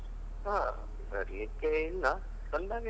ಹಾ ಬರ್ಲಿಕ್ಕೆ ಇಲ್ಲ ಬಂದಾಗ ಹೇಳ್ತಿನಿ.